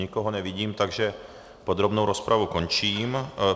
Nikoho nevidím, takže podrobnou rozpravu končím.